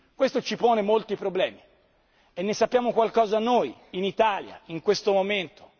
Questo ci pone molti problemi e ne sappiamo qualcosa noi in Italia, in questo momento.